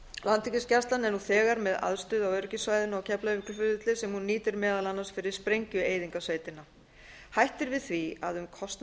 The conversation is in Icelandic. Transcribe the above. landhelgisgæslan er nú þegar með aðstöðu á öryggissvæðinu á keflavíkurflugvelli sem hún nýtir meðal annars fyrir sprengjueyðingarsveitina hætt er við því að um kostnað verði